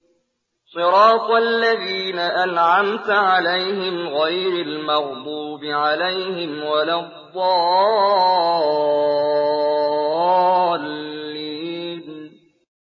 صِرَاطَ الَّذِينَ أَنْعَمْتَ عَلَيْهِمْ غَيْرِ الْمَغْضُوبِ عَلَيْهِمْ وَلَا الضَّالِّينَ